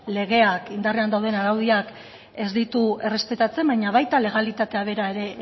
legeak indarrean dauden araudiak ez ditu errespetatzen baina baita legalitatea bera ere